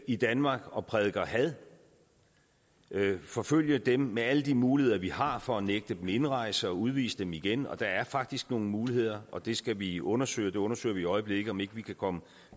i danmark og prædiker had forfølge dem med alle de muligheder vi har for at nægte dem indrejse og udvise dem igen og der er faktisk nogle muligheder og det skal vi undersøge vi undersøger i øjeblikket om vi ikke kan komme